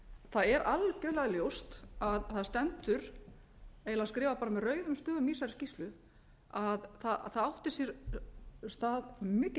það er algjörlega ljóst það stendur eiginlega skrifað bara með rauðum stöfum í þessari skýrslu að það áttu sér stað mikil